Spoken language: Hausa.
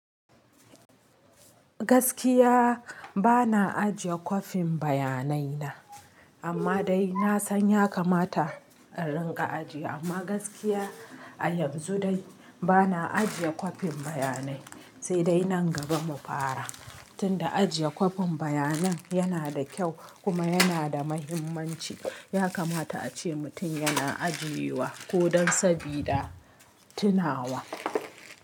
Gaskiya ba na ajiye kwafin bayanai na, amma dai na san ya kamata a rinƙa ajiye. Amma gaskiya a yanzu dai ba na ajiye kwafin bayanai, sai dai nan gaba mu fara. Tunda ajiye kwafin bayanan yana da kyau kuma yana da muhimmanci. Ya kamata ace mutum yana ajiye wa ko don sabida tunawa.